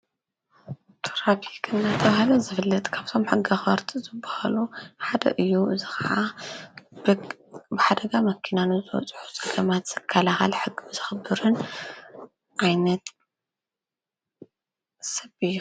ትራፊክ እናተባሃለ ዘፍልጥ ካብቶም ሕጊ ኣኽበርቲ ዝባሃሉ ሓደ እዩ፡፡ እዚ ኸዓ ብሓደጋ መኪና ንዝበፅሑ ዘገማት ዝካላኸል ሕጊ ዘኽብርን ኣይነት ሰብ እዩ፡፡